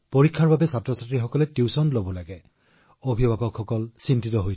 পৰীক্ষাৰ বাবে শিশুৱে টিউচন লয় অভিভাৱকসকল বিচলিত হয়